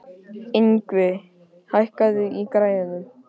Yngvi, hækkaðu í græjunum.